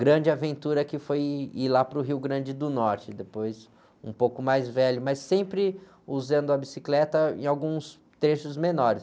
grande aventura que foi ir lá para o Rio Grande do Norte, depois um pouco mais velho, mas sempre usando a bicicleta em alguns trechos menores.